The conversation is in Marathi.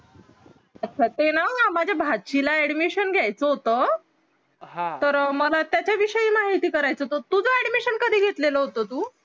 अच्छा ते ना माझ्या भाचीला admission घ्यायचं होत तर मला त्याच्या विषयी माहिती तुझं admission कधी घेतलेलं होत तु